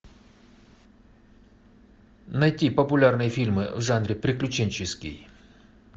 найти популярные фильмы в жанре приключенческий